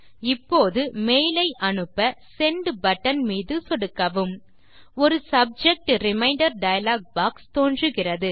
இப்போது மெயில் ஐ அனுப்ப செண்ட் பட்டன் மீது சொடுக்கவும் ஒரு சப்ஜெக்ட் ரிமைண்டர் டயலாக் பாக்ஸ் தோன்றுகிறது